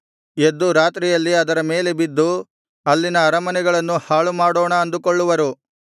ಎದ್ದು ರಾತ್ರಿಯಲ್ಲಿ ಅದರ ಮೇಲೆ ಬಿದ್ದು ಅಲ್ಲಿನ ಅರಮನೆಗಳನ್ನು ಹಾಳುಮಾಡೋಣ ಅಂದುಕೊಳ್ಳುವರು